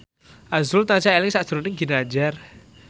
azrul tansah eling sakjroning Ginanjar